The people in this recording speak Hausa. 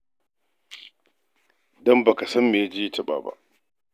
Don ba ka san me ya je ya taɓa ba.